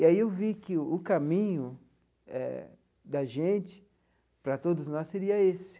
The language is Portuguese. E aí eu vi que o caminho eh da gente para todos nós seria esse.